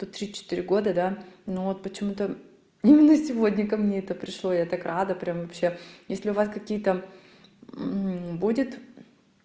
тут тридцать четыре года да ну вот почему-то именно сегодня ко мне это пришло я так рада прям вообще если у вас какие там будет